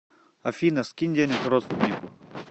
афина скинь денег родственнику